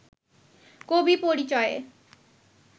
কবি পরিচয়ে